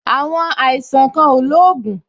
Àwọn àìsàn kan ò lóògùn